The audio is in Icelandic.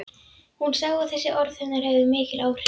Hún sá að þessi orð hennar höfðu mikil áhrif.